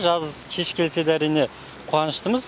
жаз кеш келсе де әрине қуаныштымыз